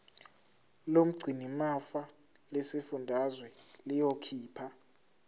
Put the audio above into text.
lomgcinimafa lesifundazwe liyokhipha